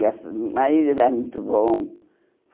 Graças hum O marido era muito bom.